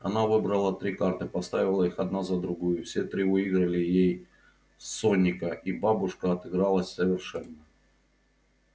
она выбрала три карты поставила их одна за другою все три выиграли ей соника и бабушка отыгралась совершенно